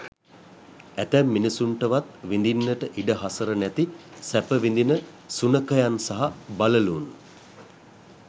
ඇතැම් මිනිසුන්ටවත් විඳින්නට ඉඩ හසර නැති සැප විඳින සුනඛයන් සහ බළලූන්